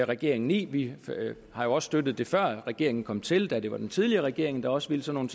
regeringen i vi har jo også støttet det før regeringen kom til da det var den tidligere regering der også ville sådan